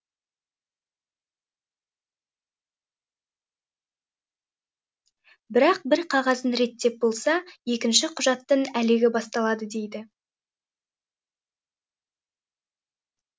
бірақ бір қағазын реттеп болса екінші құжаттың әлегі басталады дейді